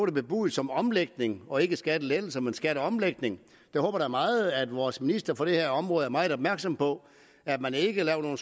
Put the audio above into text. er bebudet som omlægning og ikke skattelettelse men altså skatteomlægning jeg håber da meget at vores minister for det her område er meget opmærksom på at man ikke laver nogen